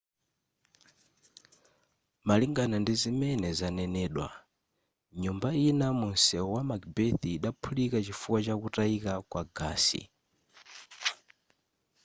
malingana ndizimene zanenedwa nyumba ina mu msewu wa macbeth idaphulika chifukwa chakutayika kwa gasi